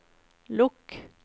lukk